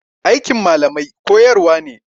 Aikin malamai koyarwa ne.